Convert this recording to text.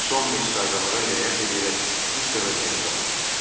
Son mes qaydalara riayət edərək ilk dəfə zəng çaldı.